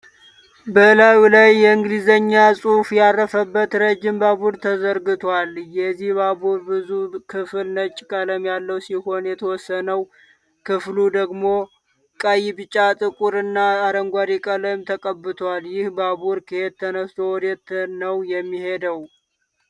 በላዩ ላይ የኢንግሊዘኛ ጽሁፍ ያረፈበት ረጅም ባቡር ተዘርግቷል። የዚህ ባቡር ብዙ ክፍል ነጭ ቀለም ያለው ሲሆን የተወሰነው ክፍሉ ደግሞ ቀይ፣ ቢጫ፣ ጥቁር፣ እና አረንጓዴ ቀለም ተቀብቷል። ይህ ባቡር ከየት ተነስቶ ወዴት ነው የሚሄደው።